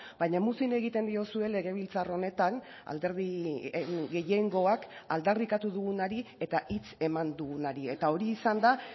baina muzin egiten diozue legebiltzar honetan alderdi gehiengoak aldarrikatu dugunari eta hitz eman dugunari eta hori izan da